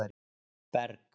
Berg